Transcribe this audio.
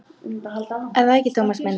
Er það ekki, Tómas minn?